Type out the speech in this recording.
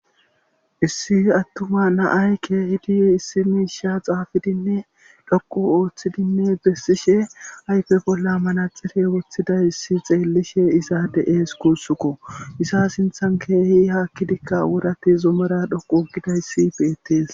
Issi attuma naay keehidi issi miisha xaafidinne dhoqu ooththidinne bessishe ayfe bolla manaxife woththidayssi xeellishe isade ees kuussukko isa sinthan keehi haakkidikka wurati zomara dhoqu uggidayssi beettees.